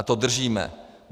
A to držíme.